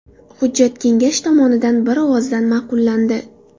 Hujjat Kengash tomonidan bir ovozdan ma’qullandi.